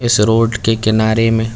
इस रोड के किनारे में--